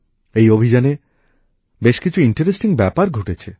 এই অভিযানে বেশ কিছু মজার ব্যাপার ঘটেছে